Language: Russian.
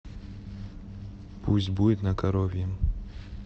пусть будет на коровьем